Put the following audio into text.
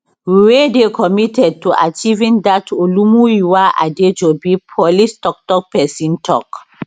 we dey committed to achieving dat olumuyiwa adejobi police toktok pesin tok